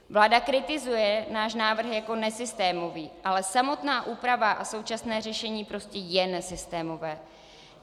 Vláda kritizuje náš návrh jako nesystémový, ale samotná úprava a současné řešení prostě je nesystémové.